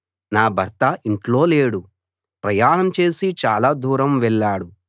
నా భర్త ఇంట్లో లేడు ప్రయాణం చేసి చాలా దూరం వెళ్ళాడు